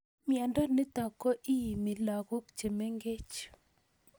Miondo nitok ko iimi lagok chemeng'ech